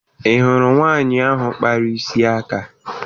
Ị hụrụ nwaanyị ahụ kpara isi aka?